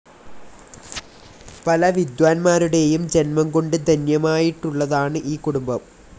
പല വിദ്വാൻമാരുടെയും ജന്മംകൊണ്ട് ധന്യമായിട്ടുള്ളതാണ് ഈ കുടുംബം.